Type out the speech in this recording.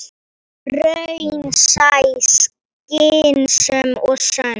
Raunsæ, skynsöm og sönn.